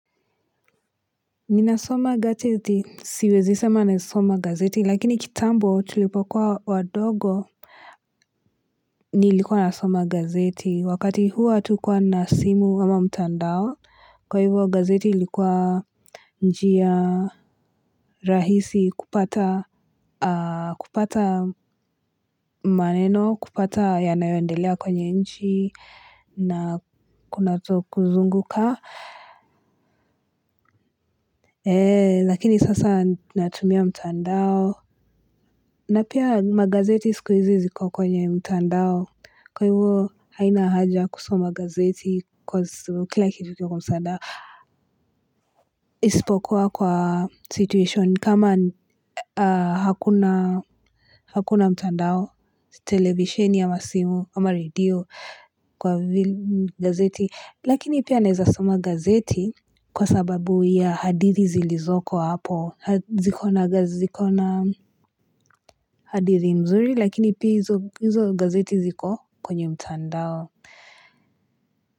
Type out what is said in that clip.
Nina soma gazeti siwezi sema nasoma gazeti lakini kitambo tulipokuwa wadogo. Nilikuwa nasoma gazeti wakati huo hatukuwa na simu ama mtandao kwa hivyo gazeti ilikuwa njia rahisi kupata kupata maneno kupata yanayoendelea kwenye nchi na kuzunguka. Lakini sasa natumia mtandao. Na pia magazeti sikuhizi ziko kwenye mtandao. Kwa hivyo haina haja kusoma gazeti kwa kila kitu kwa msaada isipokuwa kwa situation kama hakuna mtandao televisheni ama simu ama redio kwa gazeti. Lakini pia naeza soma gazeti kwa sababu ya hadithi zilizoko hapo, ziko na gazi zikona hadithi mzuri, lakini pia hizo gazeti ziko kwenye mtandao.